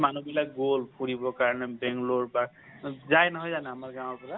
মানুহবিলাক গল ফুৰিব কাৰণে বাংগালুৰু বা যাই নহয় জানো আমাৰ গাওঁৰ পৰা